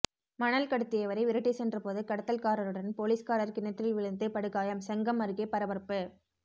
மணல் கடத்தியவரை விரட்டிச் சென்றபோது கடத்தல்காரருடன் போலீஸ்காரர் கிணற்றில் விழுந்து படுகாயம் செங்கம் அருகே பரபரப்பு